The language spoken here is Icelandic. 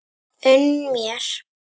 Unn mér!